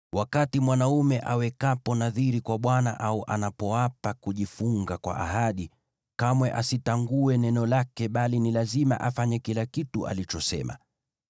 Mwanaume awekapo nadhiri kwa Bwana , au anapoapa kujifunga kwa ahadi, kamwe asitangue neno lake, bali ni lazima afanye kila kitu alichosema.